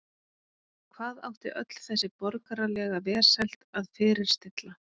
Hvað átti öll þessi borgaralega velsæld að fyrirstilla?